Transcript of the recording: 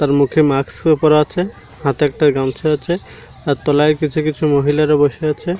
তার মুখে মাক্স -ও পরা আছে হাতে একটা গামছা আছে আর তলায় কিছু কিছু মহিলারা বসে আছে।